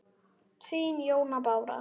Þín, Jóna Bára.